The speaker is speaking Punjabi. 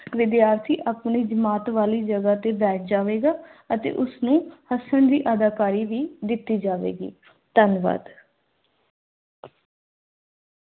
ਵਿਦਿਆਰਥੀ ਆਪਣੀ ਜਮਾਤ ਵਾਲੀ ਜਗਾ ਅਤੇ ਬੈਠ ਜਾਵੇਗਾ ਤੇ ਉਸ ਨੂੰ ਹੱਸਣ ਦੀ ਅਦਾਕਾਰੀ ਵੀ ਦਿੱਤੀ ਜਾਵੇਗੀ। ਧੰਨਵਾਦ।